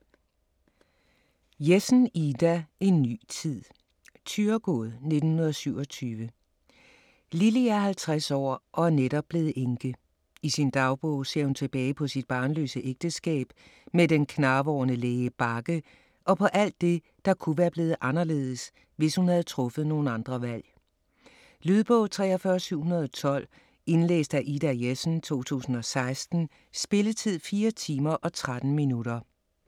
Jessen, Ida: En ny tid Thyregod, 1927. Lilly er 50 år og netop blevet enke. I sin dagbog ser hun tilbage på sit barnløse ægteskab med den knarvorne læge Bagge og på alt det, der kunne være blevet anderledes, hvis hun havde truffet nogle andre valg. Lydbog 43712 Indlæst af Ida Jessen, 2016. Spilletid: 4 timer, 13 minutter.